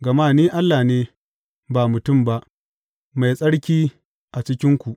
Gama ni Allah ne, ba mutum ba, Mai Tsarki a cikinku.